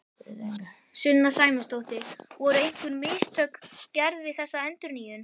Sunna Sæmundsdóttir: Voru einhver mistök gerð við þessa endurnýjun?